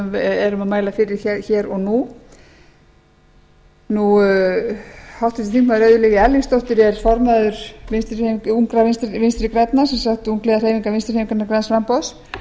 erum að mæla fyrir hér og nú háttvirtur þingmaður auður lilja erlingsdóttir er formaður ungra vinstri grænna sem sagt ungliðahreyfingarinnar vinstri hreyfingarinnar græns framboðs